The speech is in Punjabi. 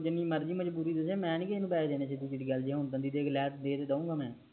ਜਿਨਿ ਮਰਜੀ ਮਜਬੂਰੀ ਦਸੇ ਮੈਂ ਨਹੀਂ ਕਿਸੇ ਨੂੰ ਪੈਸੇ ਦੇਣੇ ਸੀਧੀ ਸੀਧੀ ਗੱਲ ਜਿਵੇ ਹੁਣ ਦੇ ਤਾ ਦੂਗਾ